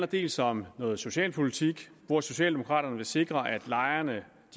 dels om noget socialpolitik hvor socialdemokraterne vil sikre at lejerne